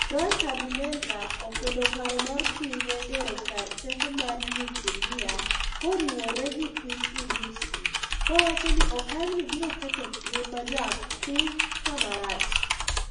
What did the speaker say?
Frank Habineza, okwedo paro mar pinyne gero kar teko mar nyukilia koriwore gi piny Urusi kowacho ni okang'ni biro keto ngima japiny kamarach.